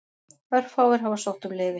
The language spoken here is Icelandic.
Örfáir hafa sótt um leyfi.